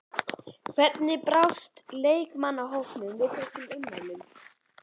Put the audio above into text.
Hvernig brást leikmannahópurinn við þessum ummælum?